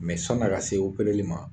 Mɛ sɔni a ka se opereli ma